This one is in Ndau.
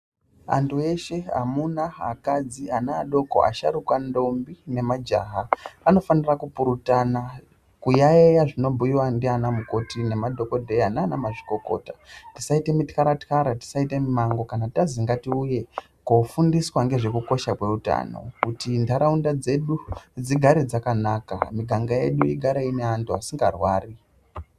Antu eshe amuna, akadzi, ana adoko, asharuka, ndombi nemajaha anofanira kupurutana kuyaiya zvinobhuyiwa ndiana mukoti nemadhokodheya naanamazvikokota. Tisaita mityara-tyara, tisaita mumango kana tazi ngatiuye kofundiswa ngezvekukosha kweutano, Kuti ntaraunda dzedu dzigare dzakanaka, miganga yedu igare ine antu asingarwari.